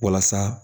Walasa